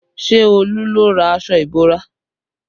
Ṣé Olú ló rà aṣọ ìbora?